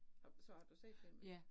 Og så har du set den?